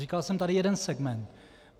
Říkal jsem tady jeden segment.